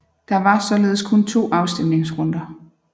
Der var således kun to afstemningsrunder